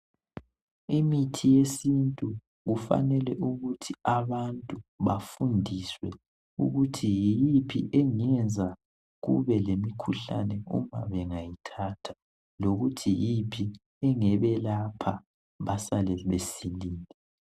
Imithi yesintu kufanele ukuthi abantu bafundiswe ukuthi yiyiphi engenza kube lemikhuhlane ukuba bengayithatha lokuthi yiyiphi engebelapha basale besilile.